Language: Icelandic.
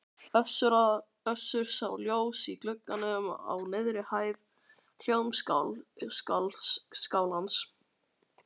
Össur sá ljós í glugganum á neðri hæð Hljómskálans.